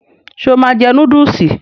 Ṣe o máa jẹ núdúùsì?